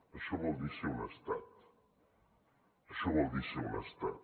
això vol dir ser un estat això vol dir ser un estat